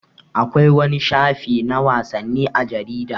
Akwai wani shafi na wasanni a jarida.